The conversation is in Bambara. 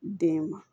Den ma